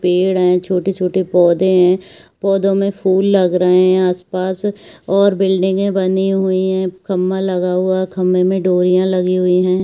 पेड़ है छोटे-छोटे पौधे है पौधों में फुल लग रहे है आस-पास और बिल्डिंगें बनी हुई है खम्बा लगा हुआ है खम्बे में डोरियाँ लगी हुई है।